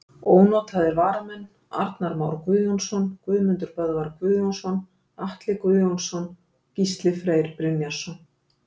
Ónotaðir varamenn: Arnar Már Guðjónsson, Guðmundur Böðvar Guðjónsson, Atli Guðjónsson, Gísli Freyr Brynjarsson.